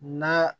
Na